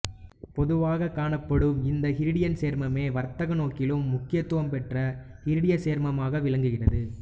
பொதுவாக காணப்படும் இந்த இரிடியச் சேர்மமே வர்த்தக நோக்கிலும் முக்கியத்துவம் பெற்ற இரிடியச் சேர்மமாக விளங்குகிறது